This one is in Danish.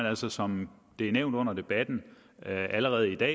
altså som det er nævnt under debatten allerede i dag